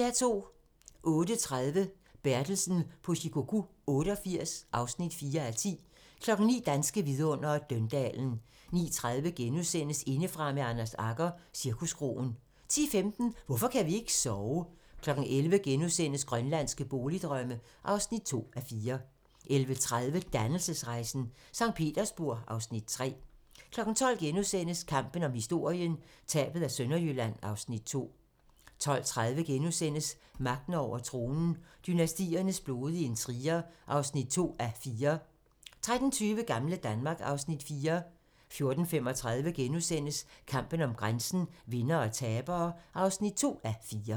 08:30: Bertelsen på Shikoku 88 (4:10) 09:00: Danske vidundere: Døndalen 09:30: Indefra med Anders Agger - Cirkuskroen * 10:15: Hvorfor kan vi ikke sove? 11:00: Grønlandske boligdrømme (2:4)* 11:30: Dannelsesrejsen - Sankt Petersborg (Afs. 3) 12:00: Kampen om historien - Tabet af Sønderjylland (Afs. 2)* 12:30: Magten over tronen - Dynastiernes blodige intriger (2:4)* 13:20: Gamle Danmark (Afs. 4) 14:35: Kampen om grænsen - Vindere og tabere (2:4)*